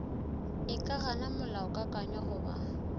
e ka gana molaokakanywa goba